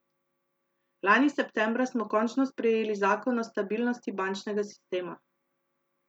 Lani septembra smo končno sprejeli zakon o stabilnosti bančnega sistema.